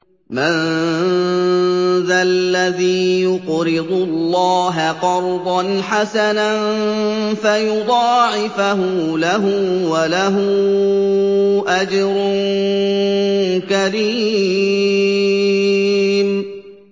مَّن ذَا الَّذِي يُقْرِضُ اللَّهَ قَرْضًا حَسَنًا فَيُضَاعِفَهُ لَهُ وَلَهُ أَجْرٌ كَرِيمٌ